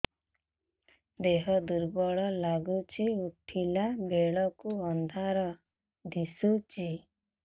ଦେହ ଦୁର୍ବଳ ଲାଗୁଛି ଉଠିଲା ବେଳକୁ ଅନ୍ଧାର ଦିଶୁଚି